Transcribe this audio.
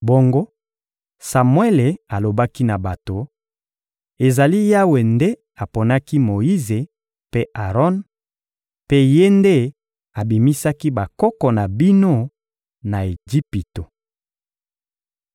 Bongo Samuele alobaki na bato: — Ezali Yawe nde aponaki Moyize mpe Aron, mpe Ye nde abimisaki bakoko na bino na Ejipito.